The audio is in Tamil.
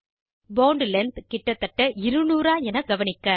போண்ட் லெங்த் கிட்டத்தட்ட 200 ஆ என காண்க